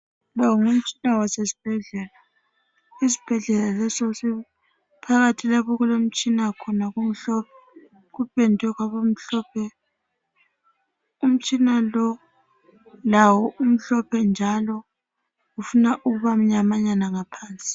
Lomngumtshina wasesibhedlela isibhedlela lesi phakathi lapho okulomtshina khona kupendwe kwaba mhlophe umtshina lo lawo umhlophe njalo ufuna ukuba mnyamanyana ngaphansi.